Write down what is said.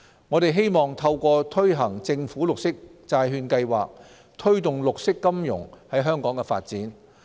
我們希望透過推行政府綠色債券計劃，推動綠色金融在香港的發展。